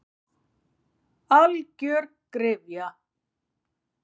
Algjör gryfja.